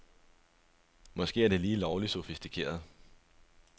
Måske er det lige lovligt sofistikeret.